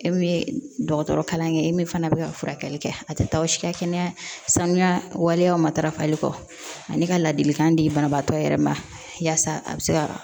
E min ye dɔgɔtɔrɔ kalan kɛ e min fana bɛ ka furakɛli kɛ a tɛ taa aw si ka kɛnɛya sanuya waleyaw matarafali kɔ ani ka ladilikan di banabaatɔ yɛrɛ ma yasa a bɛ se ka